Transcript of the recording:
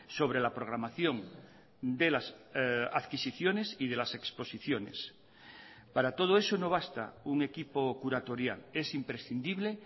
sobre la programación de las adquisiciones y de las exposiciones para todo eso no basta un equipo curatorial es imprescindible